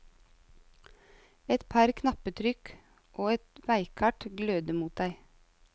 Et par knappetrykk, og et veikart gløder mot deg.